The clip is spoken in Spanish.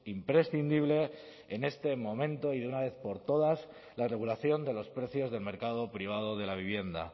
imprescindible en este momento y de una vez por todas la regulación de los precios del mercado privado de la vivienda